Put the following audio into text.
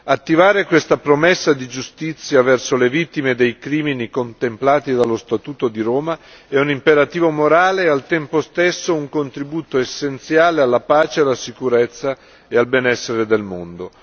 Attivare questa promessa di giustizia verso le vittime dei crimini contemplati dallo Statuto di Roma è un imperativo morale e, al tempo stesso, un contributo essenziale alla pace, alla sicurezza e al benessere nel mondo.